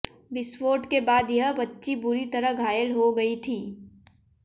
विस्फोट के बाद यह बच्ची बुरी तरह घायल हो गयी थी